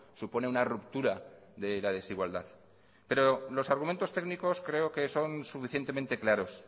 supone una ruptura de la desigualdad pero los argumentos técnicos creo que son suficientemente claros